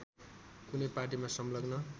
कुनै पार्टीमा संलग्न